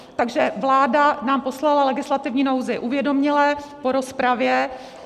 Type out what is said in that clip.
Takže vláda nám poslala legislativní nouzi uvědoměle, po rozpravě.